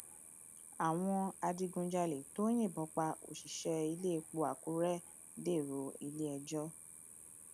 àwọn adigunjalè tó yìnbọn pa òṣìṣẹ iléepo àkúrẹ dèrò iléẹjọ